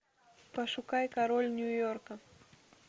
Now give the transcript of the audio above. пошукай король нью йорка